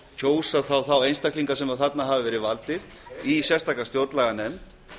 kjósa þá þá einstaklinga sem þarna hafa verið valdir í sérstaka stjórnlaganefnd